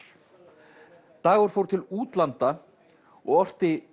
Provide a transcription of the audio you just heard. dagur fór til útlanda og orti